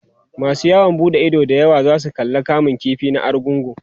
masu yawon buɗe Ido da yawa zasu zo kallan kamun ƙifi na argungu